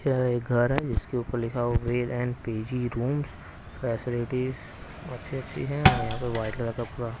यह एक घर है जिसके ऊपर लिखा हुआ Ved and PG rooms facilities अच्छी-अच्छी है और यहाँ पे व्हाईट कलर का पूरा--